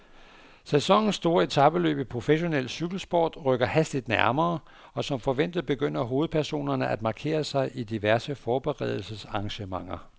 Sæsonens store etapeløb i professionel cykelsport rykker hastigt nærmere, og som forventet begynder hovedpersonerne at markere sig i diverse forberedelsesarrangementer.